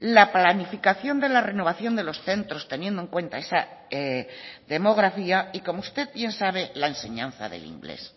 la planificación de la renovación de los centros teniendo en cuenta esa demografía y como usted bien sabe la enseñanza del inglés